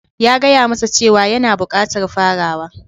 ...ya gaya masa cewa yana bukatar farawa...